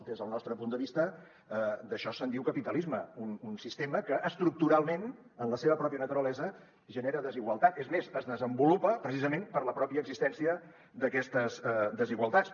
des del nostre punt de vista d’això se’n diu capitalisme un sistema que estructuralment en la seva pròpia naturalesa genera desigualtat és més es desenvolupa precisament per la pròpia existència d’aquestes desigualtats